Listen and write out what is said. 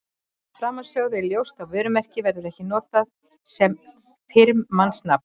Af framansögðu er ljóst að vörumerki verður ekki notað sem firmanafn.